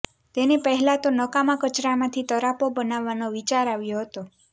તેને પહેલાં તો નકામા કચરામાંથી તરાપો બનાવવાનો વિચાર આવ્યો હતો